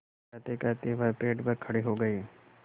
कहतेकहते वह पेड़ पर खड़े हो गए